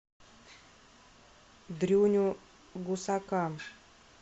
дрюню гусака